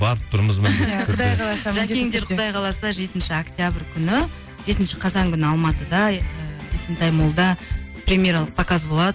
барып тұрмыз жакеңдер құдай қаласа жетінші октябрь күні жетінші қазан күні алматыда есентай моллда премьералық показ болады